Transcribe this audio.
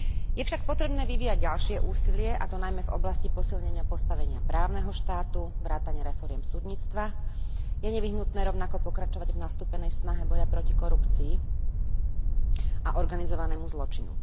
Je však potrebné vyvíjať ďalšie úsilie, a to najmä v oblasti posilnenia postavenia právneho štátu vrátane reforiem súdnictva, je nevyhnutné rovnako pokračovať v nastúpenej snahe boja proti korupcii a organizovanému zločinu.